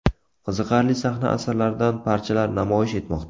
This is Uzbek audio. Qiziqarli sahna asarlaridan parchalar namoyish etmoqda.